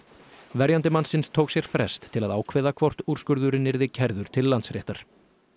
verjandi mannsins tók sér frest til að ákveða hvort úrskurðurinn yrði kærður til Landsréttar